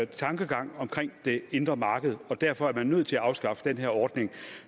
tankegang om det indre marked og derfor er man nødt til at afskaffe den her ordning